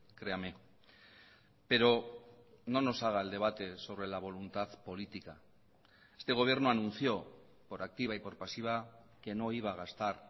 créame pero no nos haga el debate sobre la voluntad política este gobierno anunció por activa y por pasiva que no iba a gastar